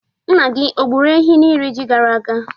Nna gị o gburu ehi n'iri ji gara aga?